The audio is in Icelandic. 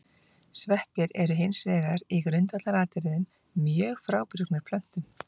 Sveppir eru hins vegar í grundvallaratriðum mjög frábrugðnir plöntum.